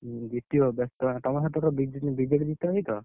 ହୁଁ, ଜିତିବ ବେସ୍ତ ହଅନା ତମ ସେପଟର ବିଜ BJD ଜିତ ହଇତ?